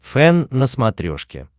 фэн на смотрешке